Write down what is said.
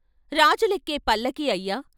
రాజులెక్కే పల్లకీ అయ్యా రాణివాసం వెళ్ళే పల్లకీ అయ్యా!